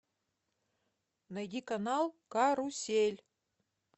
найди канал карусель